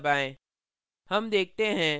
अब enter दबाएँ